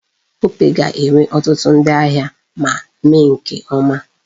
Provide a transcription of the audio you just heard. Opay ga-enwe ọtụtụ ndi ahịa ma mee nke ọma.